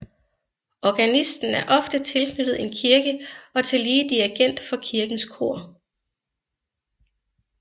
Organisten er ofte tilknyttet en kirke og tillige dirigent for kirkens kor